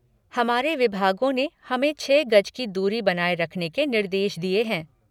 हमारे विभागों ने हमें छह गज की दूरी बनाये रखने के निर्देश दिये हैं।